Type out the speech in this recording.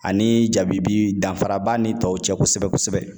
Ani jabibi danfara b'a ni tɔw cɛ kosɛbɛ kosɛbɛ